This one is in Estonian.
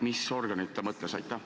Mis organeid ta mõtles?